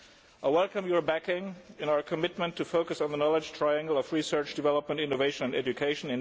I welcome your backing for our commitment to focus on the knowledge triangle of research and development, innovation and education.